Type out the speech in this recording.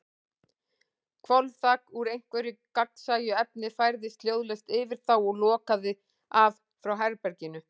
Hvolfþak, úr einhverju gagnsæju efni, færðist hljóðlaust yfir þá og lokaði af frá herberginu.